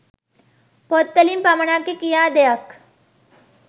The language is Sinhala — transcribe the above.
පොත් වලින් පමණක්ය කියා දෙයක්